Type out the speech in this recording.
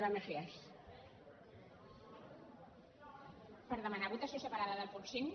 per demanar votació separada del punt cinc